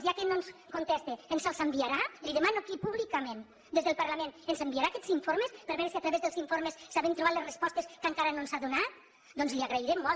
ja que no ens contesta ens els enviarà li ho demano aquí públicament des del parlament ens enviarà aquests informes per veure si a través dels informes sabem trobar les respostes que encara no ens ha donat doncs li ho agrairem molt